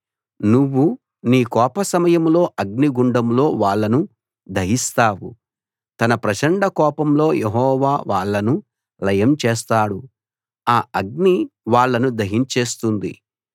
నువ్వు నీ కోపసమయంలో అగ్నిగుండంలో వాళ్ళను దహిస్తావు తన ప్రచండ కోపంలో యెహోవా వాళ్ళను లయం చేస్తాడు ఆ అగ్ని వాళ్ళను దహించేస్తుంది